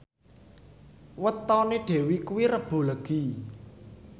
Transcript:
wetone Dewi kuwi Rebo Legi